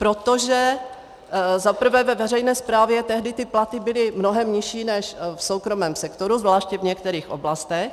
Protože za prvé ve veřejné správě tehdy ty platy byly mnohem nižší než v soukromém sektoru, zvláště v některých oblastech.